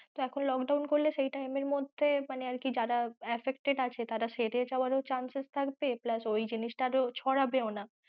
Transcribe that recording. তো এখন lockdown করলে সেই time এর মধ্যে মানে আরকি যারা affected আছে তারা এখন সেরে যাওয়ারও chances থাকবে plus ওই জিনিস টা আর ছড়াবে না।